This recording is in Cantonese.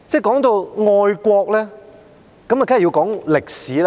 提到愛國，一定要談到歷史。